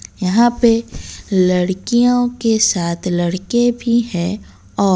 यहां पे लड़कियों के साथ लड़के भी है और--